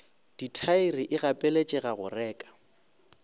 dithaere e gapeletšega go reka